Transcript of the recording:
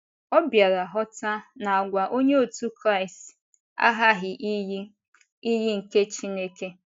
Ọ bịara ghọta na àgwà Onye otu Kraịst aghaghị iyi iyi nke Chineke.